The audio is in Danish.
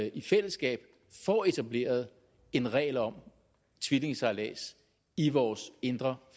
i fællesskab får etableret en regel om tvillingesejlads i vores indre